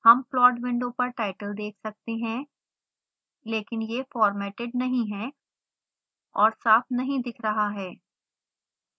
हम plot window पर title देख सकते हैं लेकिन यह फार्मेटेड नहीं है और साफ नहीं दिख रहा है